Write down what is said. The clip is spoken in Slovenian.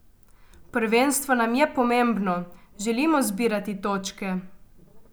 Prvenstvo nam je pomembno, želimo zbirati točke.